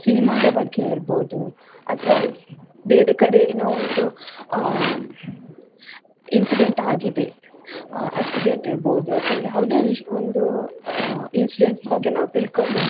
cinema ದ ಬಗ್ಗೆ ಇರ್ಬೋದು ಅಥವಾ ಬೇರೆ ಕಡೆ ಏನೋ ಒಂದು ಅಹ್ incident ಆಗಿದೆ ಅಹ್ accident ಇರ್ಬೋದು ಅಥವಾ ಯಾವುದೊ ವಿಷ್ಯ ಒಂದು incident ಬಗ್ಗೆ ನಾವು ತಿಳ್ಕೊಳ್ಬೇಕು.